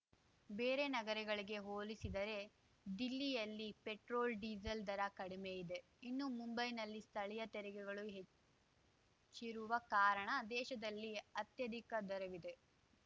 ಬೇರೆ ನಗರಗಳಿಗೆ ಹೋಲಿಸಿದರೆ ದಿಲ್ಲಿಯಲ್ಲಿ ಪೆಟ್ರೋಲ್‌ಡೀಸೆಲ್‌ ದರ ಕಡಿಮೆ ಇದೆ ಇನ್ನು ಮುಂಬೈನಲ್ಲಿ ಸ್ಥಳೀಯ ತೆರಿಗೆಗಳು ಹೆಚ್ಚಿರುವ ಕಾರಣ ದೇಶದಲ್ಲೇ ಅತ್ಯಧಿಕ ದರವಿದೆ